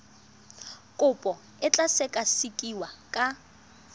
kopo e tla sekasekiwa ka